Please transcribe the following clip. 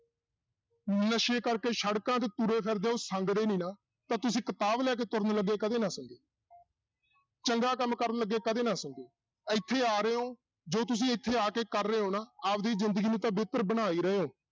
ਨਸ਼ੇ ਕਰਕੇ ਸੜਕਾਂ ਤੇ ਤੁਰੇ ਫਿਰਦੇ ਆ ਉਹ ਸੰਗਦੇ ਨੀ ਨਾ ਤਾਂ ਤੁਸੀਂ ਕਿਤਾਬ ਲੈ ਕੇ ਤੁਰਨ ਲੱਗੇ ਕਦੇ ਨਾ ਸੰਗੋ ਚੰਗਾ ਕੰਮ ਕਰਨ ਲੱਗੇ ਕਦੇ ਨਾ ਸੰਗੋ, ਇੱਥੇ ਆ ਰਹੇ ਹੋ, ਜੋ ਤੁਸੀਂ ਇੱਥੇ ਆ ਕੇ ਕਰ ਰਹੇ ਹੋ ਨਾ ਆਪਦੀ ਜ਼ਿੰਦਗੀ ਨੂੰ ਤਾਂ ਬਿਹਤਰ ਬਣਾ ਹੀ ਰਹੇ ਹੋ